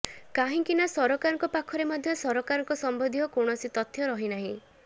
କାହିଁକା ନା ସରକାରଙ୍କ ପାଖରେ ମଧ୍ୟ ସରକାରଙ୍କ ସମ୍ବନ୍ଧୀୟ କୌଣସି ତଥ୍ୟ ରହିନାହିଁ